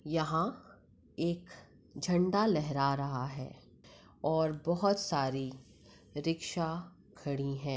यहां एक झंडा लहरा रहा है और बहुत सारी रिक्शा खड़ी है।